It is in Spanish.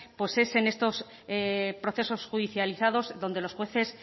pues es en estos procesos judicializados donde los jueces